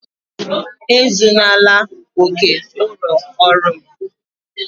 Ezunala ókè ụlọ ọrụ m!